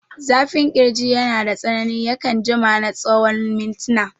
Zafin ƙirji yanada tsanani, yakan jima na tsawon mintina.